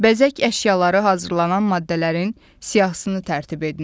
Bəzək əşyaları hazırlanan maddələrin siyahısını tərtib edin.